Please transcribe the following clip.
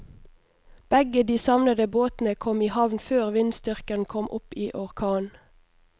Begge de savnede båtene kom i havn før vindstyrken kom opp i orkan.